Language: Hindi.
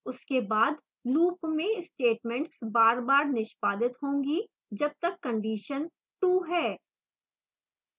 उसके बाद loop में statements बार बार निष्पादित होगी जब तक condition true है